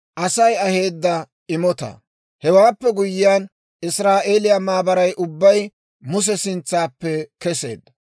Hewaappe guyyiyaan Israa'eeliyaa maabaray ubbay Muse sintsaappe keseedda.